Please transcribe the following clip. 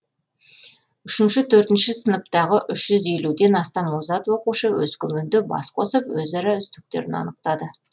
үшінші төртінші сыныптағы үш жүз елуден астам озат оқушы өскеменде бас қосып өзара үздіктерін анықтады